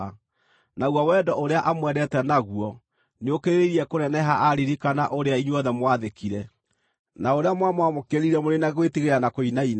Naguo wendo ũrĩa amwendete naguo nĩũkĩrĩrĩirie kũneneha aaririkana ũrĩa inyuothe mwaathĩkire, na ũrĩa mwamwamũkĩrire mũrĩ na gwĩtigĩra na kũinaina.